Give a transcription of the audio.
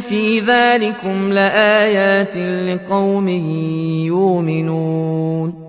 فِي ذَٰلِكُمْ لَآيَاتٍ لِّقَوْمٍ يُؤْمِنُونَ